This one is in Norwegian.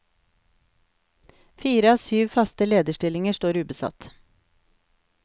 Fire av syv faste lederstillinger står ubesatt.